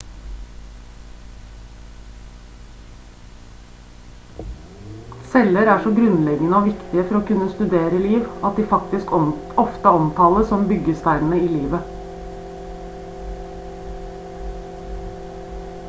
celler er så grunnleggende og viktige for å kunne studere liv at de faktisk ofte omtales som «byggesteinene i livet»